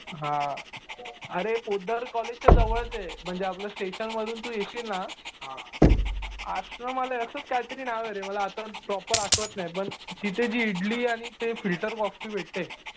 अरे पोतदार कॉलेजच्या जवळच आहे. म्हणजे आपलं स्टेशन मधून तु येशील ना असं मला असंच काहीतरी नाव आहे. मला आता प्रॉपर आठवत नाही पण तिथे जी इडली आणि ती फिल्टर कॉफी भेटते.